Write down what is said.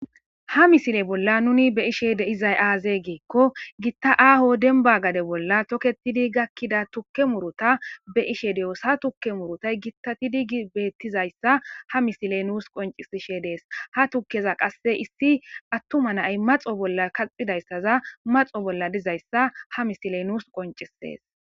Ha misile bolla nuni be ishe de izay aaze geekko gitta aaho denba gade bolla toketidi gakkida tukke muruta be ishe de'osa tukke murutay gittatidi gi beettizayssa ha misiley nuus qoncisishe dees ha tukkeza qasse issi attuma nay maxo bolla kaxidayssaza maxo bolla dizayssa ha misile nuus qonciees.